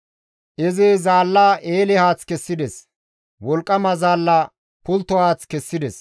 Izi zaalla eele haath kessides; wolqqama zaalla pultto haath kessides.